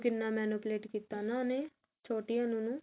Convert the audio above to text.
ਕਿੰਨਾ manipulate ਕੀਤਾ ਨਾ ਉਹਨੇ ਛੋਟੀ ਅਨੂ ਨੇ